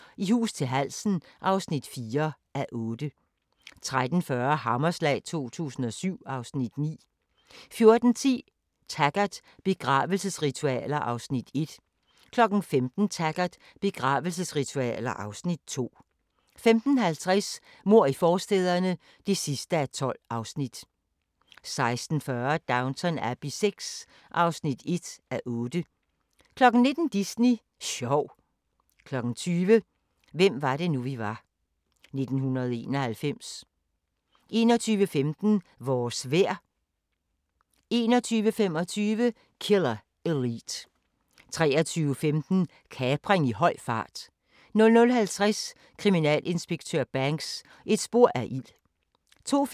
08:30: Lægens dødelige eksperimenter (3:3)* 09:30: 1986 – det er historie nu! (5:20) 09:50: 1987 – det er historie nu! (6:20) 10:15: Midt i naturen (8:9) 11:15: En reporter går om bord (1:7)* 11:45: En reporter går om bord (2:7)* 12:15: En reporter går om bord (3:7) 12:45: En reporter går om bord (4:7) 13:15: Kampen om sandet 14:05: Afghanistans største TV–station